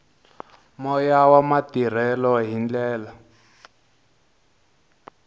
moya wa matirhelo hi ndlela